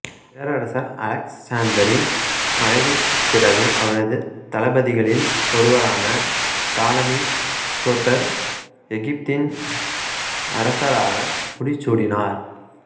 பேரரசர் அலெக்சாந்தரின் மறைவிற்குப் பிறகு அவரது தளபதிகளில் ஒருவரான தாலமி சோத்தர் எகிப்தின் அரசராக முடிசூடினார்